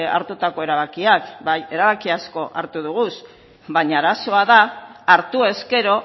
hartutako erabakiak bai erabaki asko hartu doguz baina arazoa da hartu ezkero